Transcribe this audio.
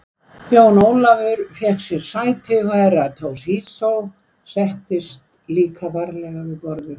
Jón Ólafur fékk sér sæti og Herra Toshizo settist líka varlega við borðið.